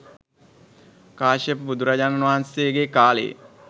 කාශ්‍යප බුදුරජාණන් වහන්සේගේ කාලයේ.